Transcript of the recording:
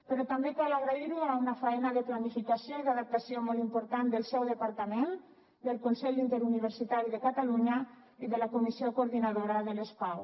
però també cal agrairho a una faena de planificació i d’adaptació molt important del seu departament del consell interuniversitari de catalunya i de la comissió coordinadora de les pau